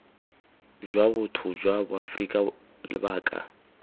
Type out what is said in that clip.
jwa botho jwa boaforika lebaka